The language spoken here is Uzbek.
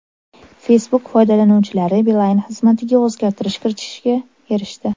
Facebook foydalanuvchilari Beeline xizmatiga o‘zgartirish kiritishga erishdi.